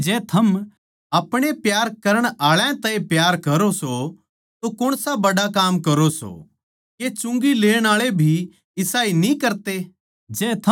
क्यूँके जै थम अपणे प्यार करण आळा तै ए प्यार करो सों तो कौण सा बड़ा काम करो सों के चुंगी लेण आळे भी इसाए न्ही करते